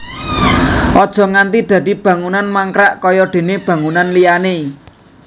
Aja nganti dadi bangunan mangkrak kaya déné bangunan liyané